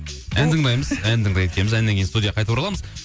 ән тыңдаймыз ән тыңдайды екенбіз әннен кейін студияға қайтып ораламыз